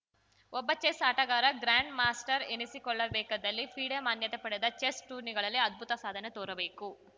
ಒಬ್ಬ ಚೆಸ್‌ ಆಟಗಾರ grand master ಎನಿಸಿಕೊಳ್ಳಬೇಕಿದ್ದಲ್ಲಿ ಫಿಡೆ ಮಾನ್ಯತೆ ಪಡೆದ ಚೆಸ್‌ ಟೂರ್ನಿಗಳಲ್ಲಿ ಅದ್ಭುತ ಸಾಧನೆ ತೋರಬೇಕು